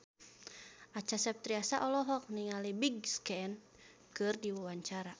Acha Septriasa olohok ningali Big Sean keur diwawancara